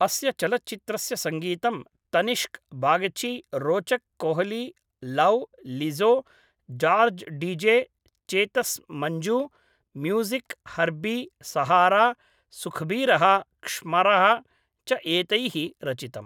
अस्य चलच्चित्रस्य सङ्गीतं तनिष्क् बागची रोचक् कोहली लौव् लिज़ो जार्ज्डीजे चेतस् मञ्ज् म्यूज़िक् हर्बी सहारा सुखबीरः क्ष्मरः च एतैः रचितम्